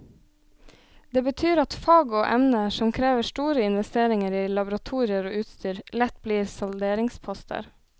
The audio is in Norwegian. Det betyr at fag og emner som krever store investeringer i laboratorier og utstyr, lett blir salderingsposter.